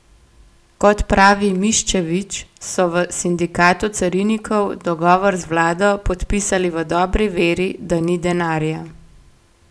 Kot pravi Miščević, so v sindikatu carinikov dogovor z vlado podpisali v dobri veri, da ni denarja.